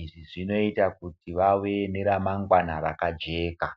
izvi zvinoita kuti vave neremangwana rakajeka